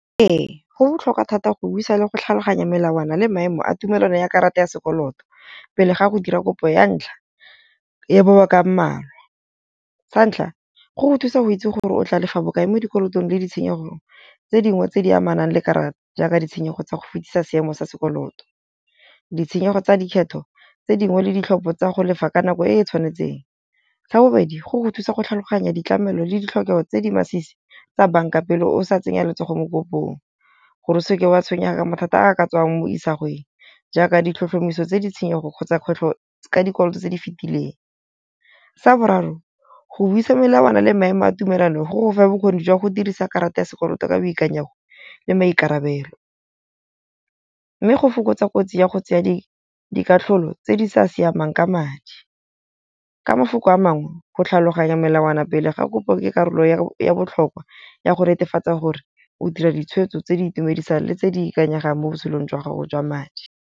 Ee, go botlhokwa thata go buisa le go tlhaloganya melawana le maemo a tumelano ya karata ya sekoloto. Pele ga go dira kopo ya ntlha ya boboa kamano . Sa ntlha, ko go thusa go itse gore o tla lefa bokae mo dikolotong le ditshenyego tse dingwe tse di amanang le karata jaaka ditshenyego tsa go fetisa seemo sa sekoloto. Ditshenyego tsa dikgetho tse dingwe le ditlhopho tsa go lefa ka nako e e tshwanetseng. Sa bobedi, go go thusa go tlhaloganya ditlamelo le ditlhokego tse di masisi tsa banka pele o sa tsenya letsogo mo . Gore o seke wa tshwenyega mathata a ka tswang mo isagweng jaaka ditlhotlhomiso tse di tshenyego kgotsa kgwetlho ka dikoloto tse di fetileng. Sa boraro, go buisa melawana le maemo a tumelano go fa bokgoni jwa go dirisa karata ya sekoloto ka boikanyego le maikarabelo. Mme go fokotsa kotsi ya go tsaya dikatlholo tse di sa siamang ka madi. Ka mafoko a mangwe go tlhaloganya melawana pele ga kopo ke karolo ya botlhokwa ya go netefatsa gore o dira ditshwetso tse di itumedisang, le tse di ikanyegang mo botshelong jwa gago jwa madi.